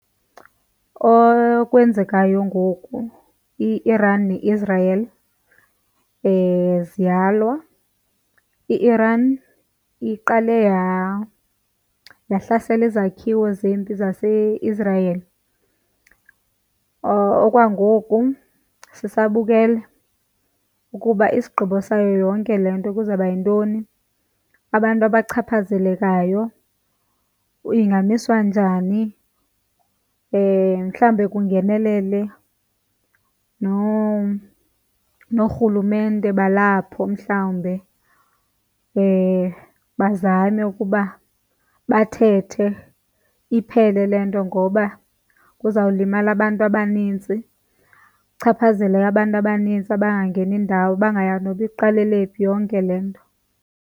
Okwenzekayo ngoku i-Iran neIsrael ziyalwa. I-Iran iqale yahlasela izakhiwo zempi zaseIsrael. Okwangoku sisabukele ukuba isigqibo sayo yonke le nto kuzawuba yintoni, abantu abachaphazelekayo, ingamiswa njani. Mhlawumbe kungenelele noorhulumente balapho mhlawumbe bazame ukuba bathethe iphele le nto ngoba kuzawulimala abantu abanintsi kuchaphazeleke abantu abanintsi abangangeni indawo, abangayazi noba iqalele phi yonke le nto.